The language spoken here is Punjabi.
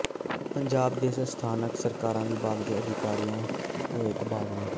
ਪੰਜਾਬ ਦੇ ਸਥਾਨਕ ਸਰਕਾਰਾਂ ਵਿਭਾਗ ਦੇ ਅਧਿਕਾਰੀਆਂ ਦੇ ਹੋਏ ਤਬਾਦਲੇ